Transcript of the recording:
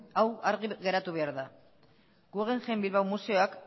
hau argi geratu behar da guggenheim bilbao museoak